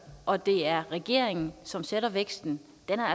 og det er regeringen som sætter væksten